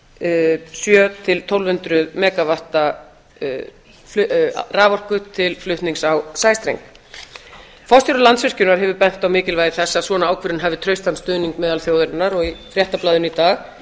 sjö hundruð til tólf hundruð mega vatta raforku til flutnings á sæstreng forstjóri landsvirkjunar hefur bent á mikilvægi þess að svona ákvörðun hafi traustan stuðning meðal þjóðarinnar og í fréttablaðinu í dag